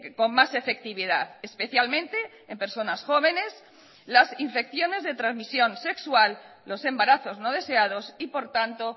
con más efectividad especialmente en personas jóvenes las infecciones de transmisión sexual los embarazos no deseados y por tanto